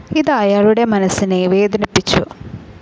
ഇത് അയാളുടെ മനസ്സിനെ വേദനിപ്പിച്ചു.